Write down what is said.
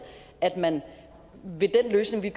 at man ved den løsning